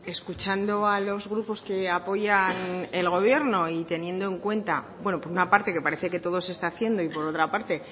escuchando a los grupos que apoyan el gobierno y teniendo en cuenta bueno por una parte que parece que todo se está haciendo y por otra parte